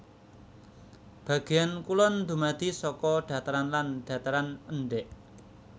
Bagéan kulon dumadi saka dhataran lan dhataran endhèk